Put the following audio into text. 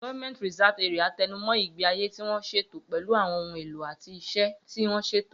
GRA tẹnu mọ́ ìgbé ayé tí wọ́n ṣètò pẹ̀lú àwọn ohun èlò àti iṣẹ́ tí wọ́n ṣètò.